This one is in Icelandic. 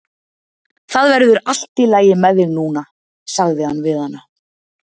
Það verður allt í lagi með þig núna sagði hann við hana.